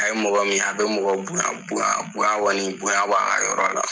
A ye mɔgɔ min a be mɔgɔ bonya bonya bonya kɔni bonya b'a ka yɔrɔ la